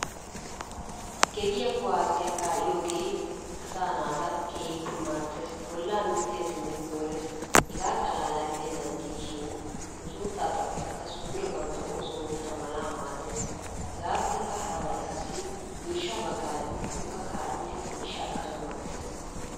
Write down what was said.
Gediyaa kuwaasiya kaa'iyoogee asaa naata keehiippe maaddees. Bolla minttesinne koolees hegaa xalala gidenan diishshiin nu suutta xaphphotikka suure bantta oosuwa oottana mala maaddees. Hegappekka harabay qassi miishsha bagaara gidikokka kaa'idi miishshaa ekanawu maadees.